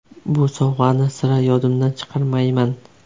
Bu sovg‘ani sira yodimdan chiqarmayman.